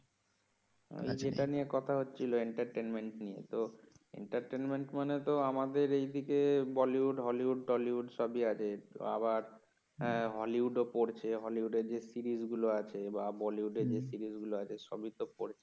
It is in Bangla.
আর যেটা নেয়া কথা হচ্ছিল entertainment নিয়ে তো entertainment মানে তো আমাদের এইদিকে বলিউড হলিউড, টলিউড সবই আছে আবার হ্যাঁ হলিউড ও পরছে হলিউড এর যে সিরিজ গুলো আছে বা বলিউড এর যে সিরিজ গুলো আছে সবই তো পড়ছে